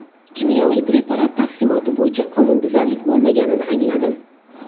Kimyoviy preparat taqsimoti bo‘yicha qonunbuzarlik bo‘lmaganini angladim”.